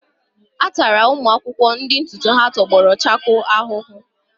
A tara ụmụ akwụkwọ ndị ntutu ha tọgbọrọ chakoo ahụhụ.